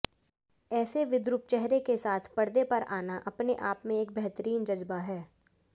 ऐसे विद्रूप चेहरे के साथ पर्दे पर आना अपने आप में एक बेहतरीन जज्बा है